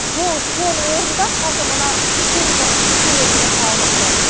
сол соның орнында қазір мына цум дүкені деген салынып тұр